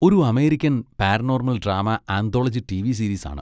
ഒരു American paranormal drama anthology TV series ആണ്.